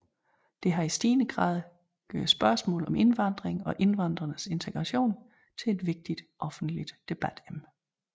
Det har i stigende grad gjort spørgsmål om indvandringen og indvandrernes integration til et vigtigt offentligt debatemne